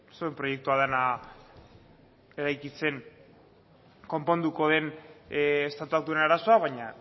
zuen proiektua dena eraikitzen konponduko den estatuak duen arazoa baina